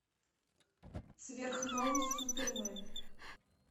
сверхновый супермен